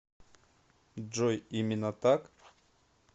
джой именно так